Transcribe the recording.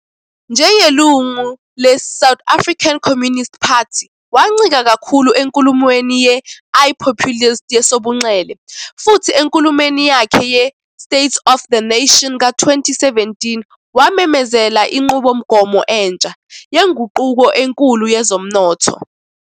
Njengelungu le-South African Communist Party, wancika kakhulu enkulumweni ye-I-populist yesobunxele, futhi enkulumeni yakhe ye-State of the Nation ka-2017 wamemezela inqubomgomo entsha "yenguquko enkulu yezomnotho".